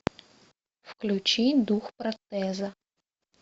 включи дух протеза